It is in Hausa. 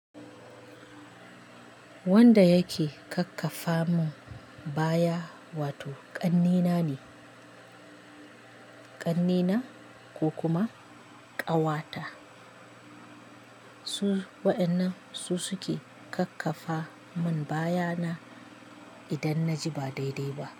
Wanda yake kakkafa mun baya wato ƙannena ne, ƙannena ko kuma ƙawata. Su waƴannan su suke kakkafa mun baya na idan na ji ba daidai ba.